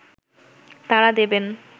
তারা দেবেন